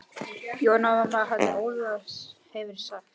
Jóna mamma hans Óla hefur sagt.